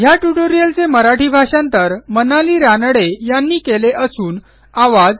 ह्या ट्युटोरियलचे मराठी भाषांतर मनाली रानडे यांनी केलेले असून आवाज